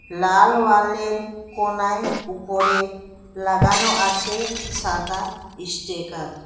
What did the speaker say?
লাল ওয়ালের কোণায় ওপরে লাগানো আছে সাদা ইস্টিকার ।